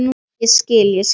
Ég skil, ég skil.